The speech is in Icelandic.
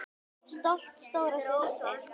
Stolt stóra systir.